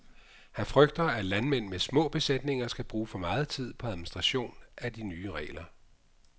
Han frygter, at landmænd med små besætninger skal bruge for meget tid på administration af de nye regler.